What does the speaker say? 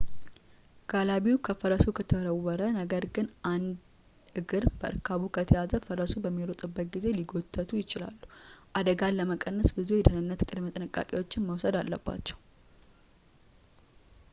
ጋላቢው ከፈረሱ ከተወረወረ ነገር ግን አንድ እግር በእርካቡ ከተያዘ ፈረሱ በሚሮጥበት ጊዜ ሊጎተቱ ይችላሉ አደጋን ለመቀነስ ብዙ የደኅንነት ቅድመ ጥንቃቄዎች መወሰድ አለባቸው